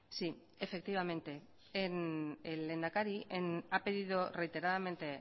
sí efectivamente el lehendakari ha pedido reiteradamente